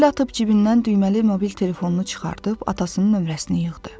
Əl atıb cibindən düyməli mobil telefonunu çıxardıb atasının nömrəsini yığdı.